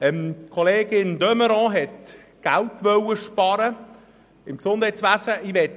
Kollegin de Meuron hatte die Absicht, im Gesundheitswesen Geld zu sparen.